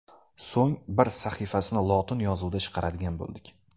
So‘ng bir sahifasini lotin yozuvida chiqaradigan bo‘ldik.